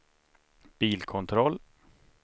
bilkontroll